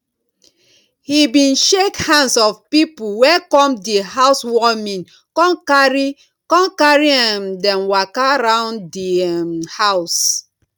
he bin shake hands of people wey come di housewarming con carri con carri um dem waka round di um house